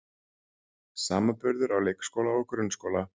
Samanburður á leikskóla og grunnskóla